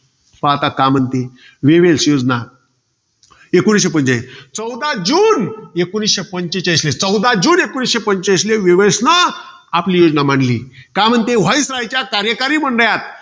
आता का म्हणते वेवेल्स योजना एकोणीसशे पंचेचाळीस. चौदा जून एकोणीसशे पंचेचाळीसले. चौदा जून एकोणीसशे पंचेचाळीसले वेवेल्सने आपली योजना मांडली. काय म्हणते? viceroy च्या कार्यकरी मंडळात.